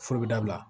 Foro bɛ dabila